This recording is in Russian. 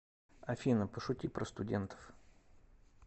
афина пошути про студентов